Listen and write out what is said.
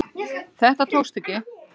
Þetta tókst ekki